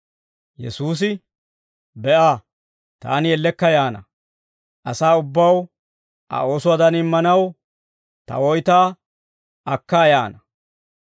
Yesuusi, «Be'a! Taani ellekka yaana. Asaa ubbaw Aa oosuwaadan immanaw, ta woytaa akkaa yaana.